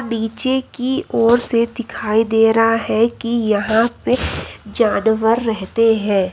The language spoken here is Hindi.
नीचे की ओर से दिखाई दे रहा है कि यहां पे जानवर रहते हैं।